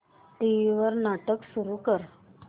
TV वर नाटक सुरू कर